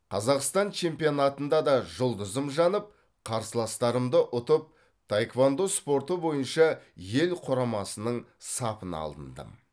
қазақстан чемпионатында да жұлдызым жанып қарсыластарымды ұтып таеквондо спорты бойынша ел құрамасының сапына алындым